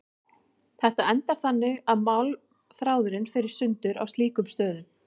Þetta endar þannig að málmþráðurinn fer í sundur á slíkum stöðum.